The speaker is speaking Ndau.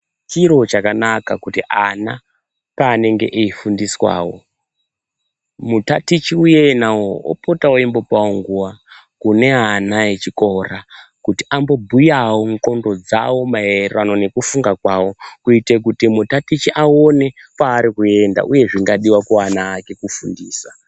Chiro chakanaka kuti ana pavanenge veifundiswawo mutatichi iyena opotawo eimbopawo nguwa kune ana echikora kuti ambobhuyawo nxondo dzawo maererano nekufunga kwawo kuite kuti mutatichi aone kwaari kuenda uye zvingadiwe kuana ake kufundisa.